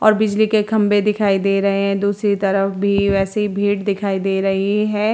और बिजली के खम्भे दिखाई दे रहे हैं और दूसरी तरफ भी वैसी ही भीड़ दिखाई दे रही हैं।